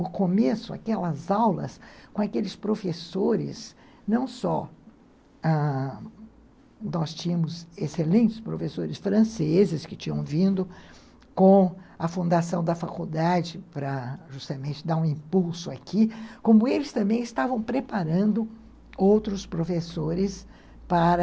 O começo, aquelas aulas com aqueles professores, não só ãh nós tínhamos excelentes professores franceses que tinham vindo com a fundação da faculdade para justamente dar um impulso aqui, como eles também estavam preparando outros professores para...